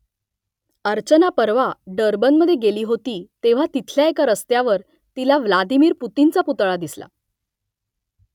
अर्चना परवा डर्बनमधे गेली होती तेव्हा तिथल्या एका रस्त्यावर तिला व्लादिमिर पुतिनचा पुतळा दिसला